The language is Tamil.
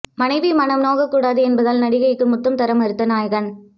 மனைவி மனம் நோகக்கூடாது என்பதால் நடிகைக்கு முத்தம் தர மறுத்த நாயகன்